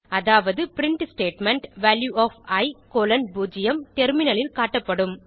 அதாவது முதல் print statement value of e colon 0 டெர்மினலில் காட்டப்படும்